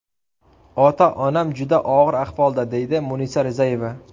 Ota-onam juda og‘ir ahvolda”, deydi Munisa Rizayeva.